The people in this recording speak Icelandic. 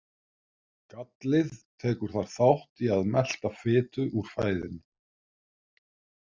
Gallið tekur þar þátt í að melta fitu úr fæðunni.